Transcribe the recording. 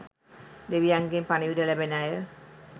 දෙවියන්ගෙන් පණිවිඩ ලැබෙන අය.